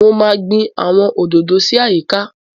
Mo máa gbin àwọn òdòdó sí àyíká